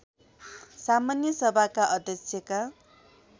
सामान्य सभाका अध्यक्षका